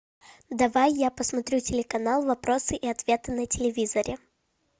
давай я посмотрю телеканал вопросы и ответы на телевизоре